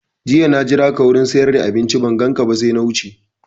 Jiya na jiraka wurin siyar da abinci ban ganka ba sai na wuce